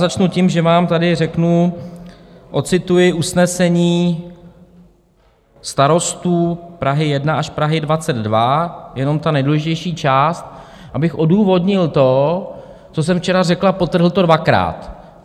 Začnu tím, že vám tady řeknu, ocituji usnesení starostů Prahy 1 až Prahy 22, jenom tu nejdůležitější část, abych odůvodnil to, co jsem včera řekl, a podtrhl to dvakrát.